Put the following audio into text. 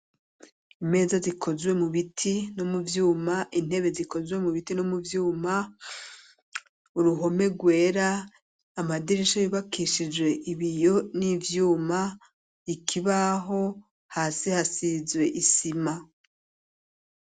Imeza zikozwe mu biti no mu vyuma, intebe zikozwe mu biti no mu vyuma, uruhome rwera amadirisha yubakishijwe ibiyo n'ivyuma, ikibaho, hasi hasizwe isima.